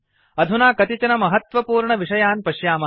अधुना कतिचन महत्वपूर्णविषयान् पश्यामः